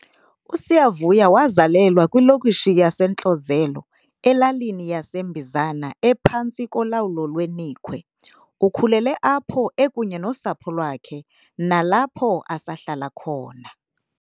USiyavuya wazalelwa kwilokishi yaseNtlozelo elalini yaseMbizana ephantsi kolawulo lweNikhwe. Ukhulele apho ekunye nosapho lwakhe nalapho asahlala khona.